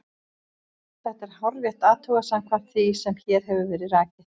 Þetta er hárrétt athugað samkvæmt því sem hér hefur verið rakið.